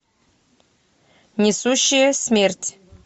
несущая смерть